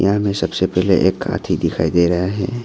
यह में सबसे पहले एक हाथी दिखाई दे रहा है।